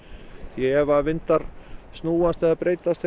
því ef vindar snúast eða breytast